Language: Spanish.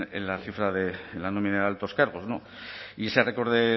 en la nómina de altos cargos no y ese récord de